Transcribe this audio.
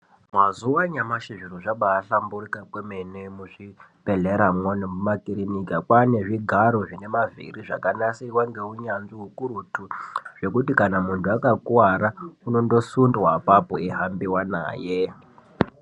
Mazuwa anyamashi zviro zvabaahlamburika kwemene muzvibhedhlera mwo nemumakirikika kwaane zvigaro zvine mavhiri zvakanasirwa ngeunyanzvi ukurutu zvekuti kana muntu akakuwara unondosundwa apapo eihambiwa naye.